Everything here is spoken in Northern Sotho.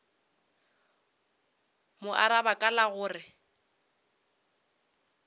mo araba ka la gore